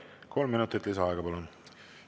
Kolm minutit lisaaega, palun!